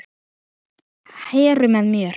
Heru með mér.